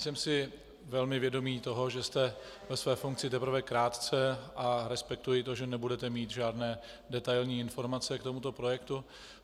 Jsem si velmi vědom toho, že jste ve své funkci teprve krátce, a respektuji to, že nebudete mít žádné detailní informace k tomuto projektu.